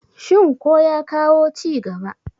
shin ko ya kawo ci gaba?